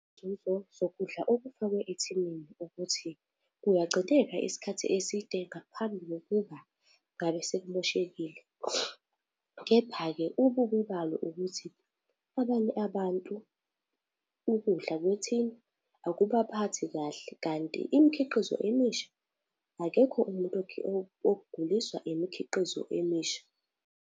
Izinzuzo zokudla okufakwe ethiniini ukuthi kuyagcineka isikhathi eside ngaphambi kokuba ngabe sekumoshekile. Kepha-ke ububi balo ukuthi abanye abantu ukudla kwethina akubaphathi kahle kanti imikhiqizo emisha akekho umuntu oguliswa imikhiqizo emisha.